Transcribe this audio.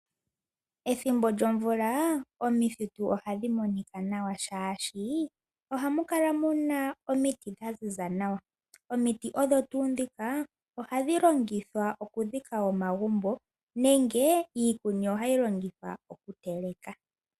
Ethimbo lyomvula omithitu ohadhi monika nawa shaashi ohamu kala muna omiti dha ziza nawa. Omiti odho tuu ndhika ohadhi longithwa oku dhika oma gumbo nenge iikuni ohayi longithwa oku tema.